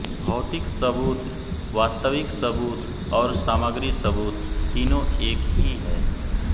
भौतिक सबूत वास्तविक सबूत और सामग्री सबूत तीनो एक ही है